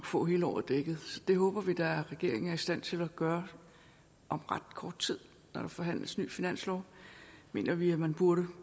få hele året dækket det håber vi da at regeringen er i stand til at gøre om ret kort tid når der forhandles ny finanslov mener vi at man burde